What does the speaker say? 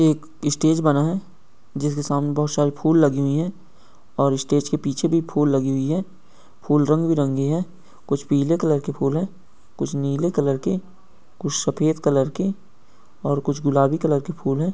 एक स्टेज बना है जिसके सामने बहुत सारे फूल लगी हुई हैं और स्टेज के पीछे भी फूल लगी हुई हैं फूल रंग बिरंगे हैं कुछ पीले कलर के फूल है कुछ नीले कलर के कुछ सफेद कलर के और कुछ गुलाबी कलर के फूल हैं।